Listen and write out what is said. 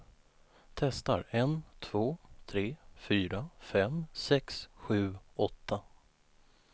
Testar en två tre fyra fem sex sju åtta.